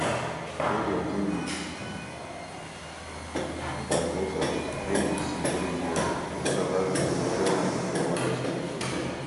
wey dem do wit transmitter wey BC borrow US tok about a modest a modest purpose